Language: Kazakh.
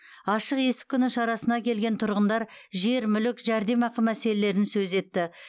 ашық есік күні шарасына келген тұрғындар жер мүлік жәрдемақы мәселелерін сөз етті